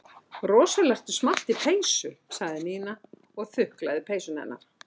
Rosalega ertu í smart peysu sagði Nína og þuklaði peysuna hennar.